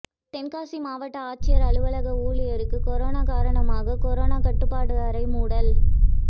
தென்காசி மாவட்ட ஆட்சியர் அலுவலக ஊழியருக்கு கொரோனா காரணமாக கொரோனா கட்டுப்பாடு அறை மூடல்